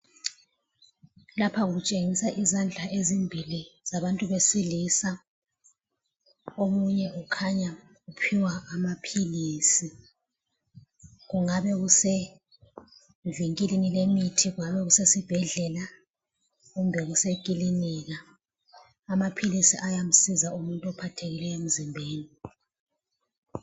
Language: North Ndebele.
Lapha kutshengisa izandla ezimbili zabantu besilisa. Omunye ukhanya uphiwa amaphilisi. Kungaba kusevinkilini lemithi, kungaba kusesibhedlela kumbe kusekilinika. Amaphilisi ayamsiza umuntu ophathekileyo emzimbeni.